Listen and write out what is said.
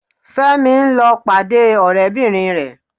Fẹ́mi ń lọ́ pàdé ọ̀rẹ́bìnrin rẹ̀